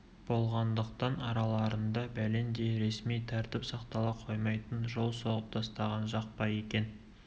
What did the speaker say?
ғандықтан араларында бәлендей ресми тәртіп сақтала қоймайтын жол соғып тастаған жақ па екен